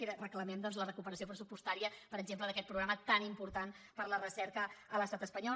i reclamem doncs la recuperació pressupostària per exemple d’aquest programa tan important per a la recerca a l’estat espanyol